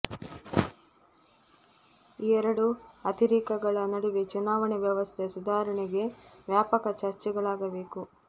ಈ ಎರಡೂ ಅತಿರೇಕಗಳ ನಡುವೆ ಚುನಾವಣೆ ವ್ಯವಸ್ಥೆ ಸುಧಾರಣೆಗೆ ವ್ಯಾಪಕ ಚರ್ಚೆಗಳಾಗಬೇಕು